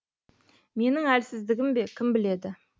менің әлсіздігім бе кім біледі